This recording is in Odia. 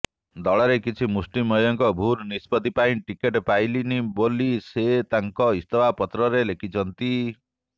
ଦଳର କିଛି ମୁଷ୍ଟିମେୟଙ୍କ ଭୁଲ ନିଷ୍ପତ୍ତି ପାଇଁ ଟିକେଟ ପାଇଲିନି ବୋଲି ସେ ତାଙ୍କ ଇସ୍ତଫାପତ୍ରରେ ଲେଖିଛନ୍ତି